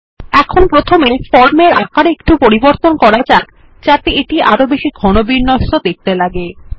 এখন প্রথমে ফর্মের আকারে একটু পরিবর্তন করা যাক যাতে এটি আরো ঘন বিন্যস্ত দেখতে লাগে